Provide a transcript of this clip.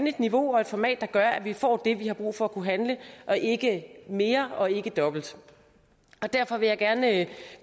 et niveau og et format der gør at vi får det vi har brug for for at kunne handle og ikke mere og ikke dobbelt derfor vil jeg også gerne